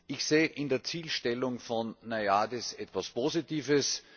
Ich sehe in der Zielstellung von NAIADES etwas Positives.